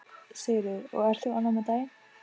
Sigríður: Og ert þú ánægð með daginn?